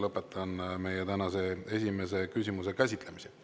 Lõpetan tänase esimese küsimuse käsitlemise.